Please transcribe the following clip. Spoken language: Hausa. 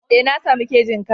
Ee na sami kejin karen.